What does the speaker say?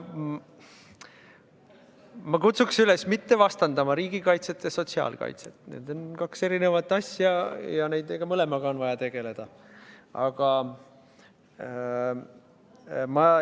Ma kutsun üles mitte vastandama riigikaitset ja sotsiaalkaitset – need on kaks eri asja ja nende mõlemaga on vaja tegeleda.